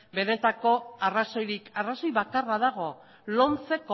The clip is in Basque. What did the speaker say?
benetako arrazoirik arrazoi bakarra dago lomcek